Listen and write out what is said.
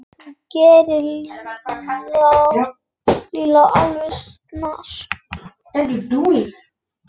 Þú gerir Lúlla alveg snar,